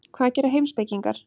Hvað gera heimspekingar?